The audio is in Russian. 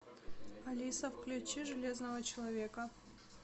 алиса включи железного человека